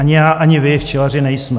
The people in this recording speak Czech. Ani já, ani vy včelaři nejsme.